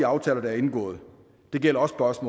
aftaler der er indgået det gælder også